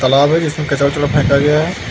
तलाब है जिसमें कचड़ा कूड़ा फेका गया है।